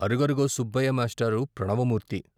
అరుగరుగో సుబ్బయ్య.మేష్టారు ప్రణవమూ ర్తి